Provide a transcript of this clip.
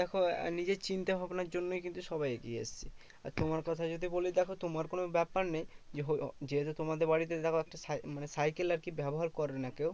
দেখো নিজের চিন্তা ভাবনার জন্যই কিন্তু সবাই এগিয়ে এসেছে। আর তোমার কথা যদি বলি, দেখো তোমার কোনো ব্যাপার নেই। দেখ যেহেতু তোমাদের বাড়িতে দেখো একটা সা মানে সাইকেল আরকি ব্যবহার করে না কেউ